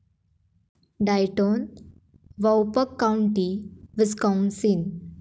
Dayton, Waupaca County, Wisconsin